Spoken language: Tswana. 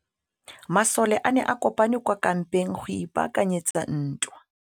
Masole a ne a kopane kwa kampeng go ipaakanyetsa ntwa.